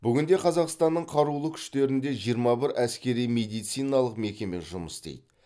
бүгінде қазақстанның қарулы күштерінде жиырма бір әскери медициналық мекеме жұмыс істейді